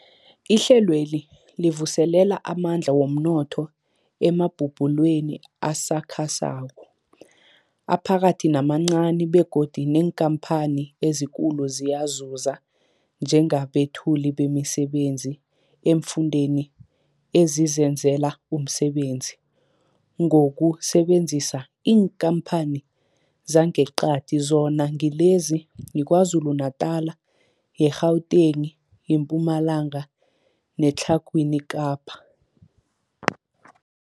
Ihlelweli livuselela amandla womnotho emabubulweni asakhasako, aphakathi namancani begodu neenkhamphani ezikulu ziyazuza njengabethuli bemisebenzi eemfundeni ezizenzela umsebenzi ngokusebenzisa iinkhamphani zangeqadi, zona ngilezi, yiKwaZulu-Natala, i-Gauteng, iMpumalanga neTlhagwini Kapa.